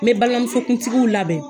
N bɛ balimamuso kuntigiw labɛn.